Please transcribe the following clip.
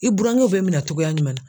I burankɛw bɛ minɛ cogoya jumɛn na?